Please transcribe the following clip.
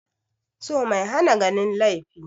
So mai hana ganin laifi